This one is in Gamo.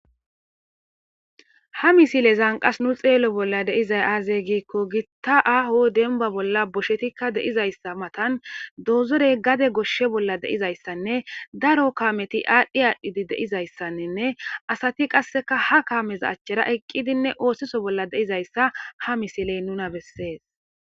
ha misile zanqas nu xeello bolla deizay aazeygiikko gitta aho denba bolla boshetikka deizayssa matan doozorey gade goshshe bolla deizayssanne daro kaameti aadhdhi aadhdhidi deizayssanninne asati qasseka ha kaameza achchera eqqidinne oosiso bolla deizayssa ha misiley nuna bessees